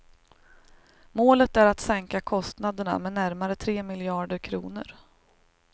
Målet är att sänka kostnaderna med närmare tre miljarder kronor.